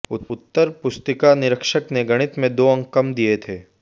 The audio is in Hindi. उत्तर पुस्तिका निरीक्षक ने गणित में दो अंक कम दिए थे